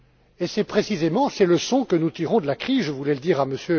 Et c'est précisément ces leçons que nous tirons de la crise. Je voulais le dire à M.